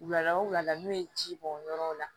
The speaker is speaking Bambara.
Wulada o wulada n'u ye ji bɔn yɔrɔw la